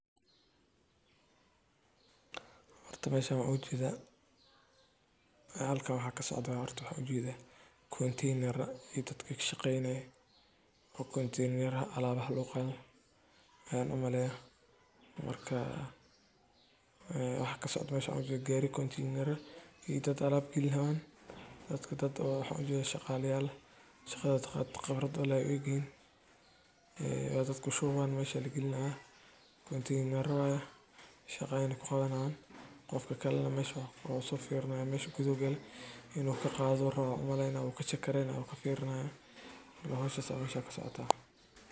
Nadaafadda joogtada ah waxay yaraysaa faafidda cudurrada, waxayna ka dhigtaa deegaanka mid qurxoon oo caafimaad qaba. Sidaa darteed, qof walba waa inuu ka qayb qaataa nadiifinta wasqadda meel kasta oo uu joogo, si loo ilaaliyo caafimaadka guud iyo bilicda deegaanka.